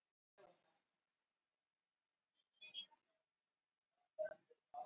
Þau eru heldur ekki háð sögu sinni.